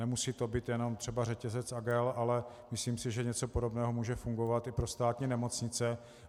Nemusí to být jenom třeba řetězec AGEL, ale myslím si, že něco podobného může fungovat i pro státní nemocnice.